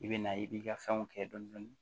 I bɛ na i b'i ka fɛnw kɛ dɔni dɔni